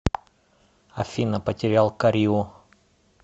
афина потерял кариу